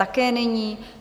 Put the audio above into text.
Také není.